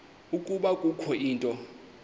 ukuba kukho into